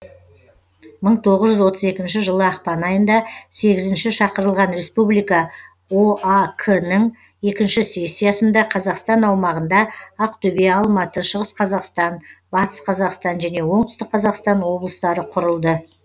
мың тоғыз жүз отыз екінші жылы ақпан айында сегізінші шақырылған республика оак інің екінші сессиясында қазақстан аумағында ақтөбе алматы шығыс қазақстан батыс қазақстан жөне оңтүстік қазақстан облыстары құрылды